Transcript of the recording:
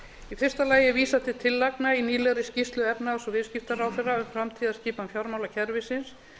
í fyrsta lagi er vísað til tillagna í nýlegri skýrslu efnahags og viðskiptaráðherra um framtíðarskipan fjármálakerfisins